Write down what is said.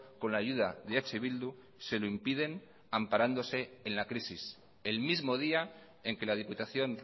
con la ayuda de eh bildu se lo impiden amparándose en la crisis el mismo día en que la diputación